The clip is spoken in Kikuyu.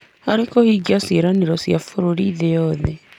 harĩ kũhingia mawĩranĩro ma bũrũri harĩ thĩ yothe.